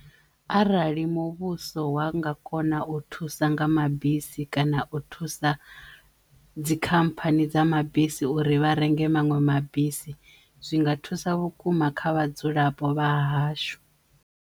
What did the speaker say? Arali muvhuso wa nga kona u thusa nga mabisi kana u thusa dzikhamphani dza mabisi uri vha renge maṅwe mabisi zwinga thusa vhukuma kha vhadzulapo vha hashu.